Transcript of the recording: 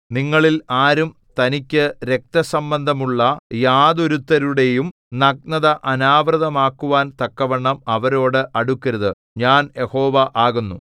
നിങ്ങളിൽ ആരും തനിക്കു രക്തസംബന്ധമുള്ള യാതൊരുത്തരുടെയും നഗ്നത അനാവൃതമാക്കുവാൻ തക്കവണ്ണം അവരോട് അടുക്കരുത് ഞാൻ യഹോവ ആകുന്നു